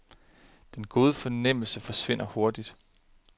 Den gode fornemmelse forsvinder hurtigt.